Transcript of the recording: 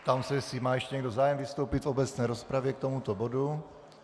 Ptám se, jestli má ještě někdo zájem vystoupit v obecné rozpravě k tomuto bodu.